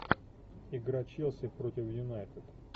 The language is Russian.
игра челси против юнайтед